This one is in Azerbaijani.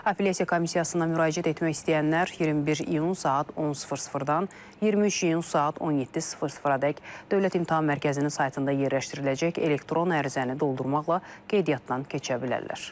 Apellyasiya komissiyasına müraciət etmək istəyənlər 21 iyun saat 10:00-dan 23 iyun saat 17:00-dək Dövlət İmtahan Mərkəzinin saytında yerləşdiriləcək elektron ərizəni doldurmaqla qeydiyyatdan keçə bilərlər.